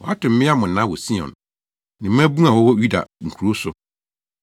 Wɔato mmea mmonnaa wɔ Sion, ne mmabun a wɔwɔ Yuda nkurow so.